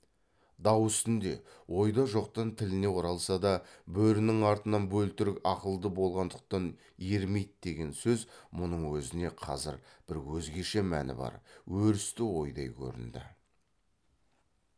дау үстінде ойда жоқтан тіліне оралса да бөрінің артынан бөлтірік ақылды болғандықтан ермейді деген сөз мұның өзіне қазір бір өзгеше мәні бар өрісті ойдай көрінді